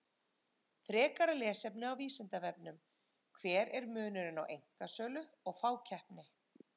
Frekara lesefni á Vísindavefnum: Hver er munurinn á einkasölu og fákeppni?